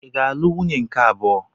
Ị ga-alụ nwunye nke abụọ.